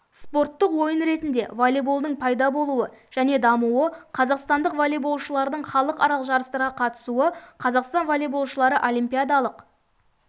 спорттық ойын ретінде волейболдың пайда болуы және дамуы қазақстандық волейболшылардың халықаралық жарыстарға қатысуы қазақстан волейболшылары олимпиадалық